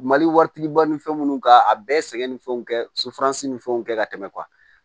Mali waritigi ba ni fɛn munnu ka a bɛɛ ye sɛgɛn ni fɛnw kɛ ni fɛnw kɛ ka tɛmɛ